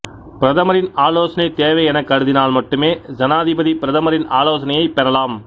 பிரதமரின் ஆலோசனை தேவை எனக் கருதினால் மட்டுமே சனாதிபதி பிரதமரின் ஆலோசனையைப் பெறலாம்